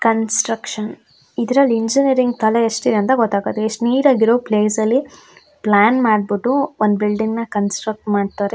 Construction ಇದ್ರಲ್ಲಿ engineering ಕಲೆ ಎಷ್ಟಿದೆ ಅಂತ ಗೊತಾಗತ್ತೆ ಎಷ್ಟ್ ನೀಟ್ ಆಗಿರೋ ಪ್ಲೇಸಲ್ಲಿ ಪ್ಲ್ಯಾನ್ ಮಾಡ್ಬಿಟ್ಟು ಒಂದು ಬಿಲ್ಡಿಂಗ್ ನ ಕಂಸ್ಟ್ರಕ್ಟ್ ಮಾಡ್ತಾರೆ.